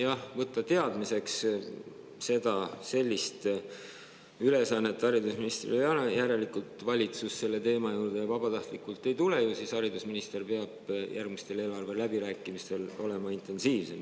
Aga võttes teadmiseks, et sellist ülesannet haridusministril ei ole, siis järelikult valitsus selle teema juurde vabatahtlikult ei tule, ju siis haridusminister peab järgmistel eelarveläbirääkimistel olema intensiivsem.